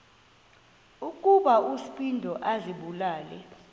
ukuba uspido azibulale